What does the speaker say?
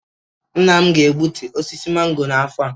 Nna m ga-egbutu osisi mango a n'afọ a